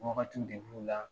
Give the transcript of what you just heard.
Waagati de b'u la